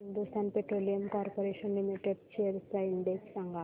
Hindustan petroleum corporation limited shares चा index सांगा